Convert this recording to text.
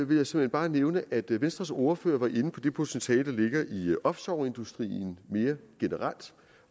vil jeg såmænd bare nævne at venstres ordfører var inde på det potentiale der ligger i offshoreindustrien mere generelt